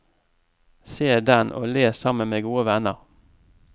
Se den og le sammen med gode venner.